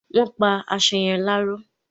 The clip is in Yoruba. Wọ́n pa aṣọ yẹn láró ni